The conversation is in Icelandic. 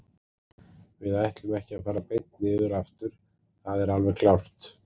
Við ætlum ekki að fara beint niður aftur, það er alveg klárt.